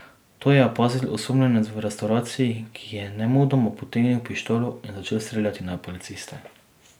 To je opazil osumljenec v restavraciji, ki je nemudoma potegnil pištolo in začel streljati na policiste.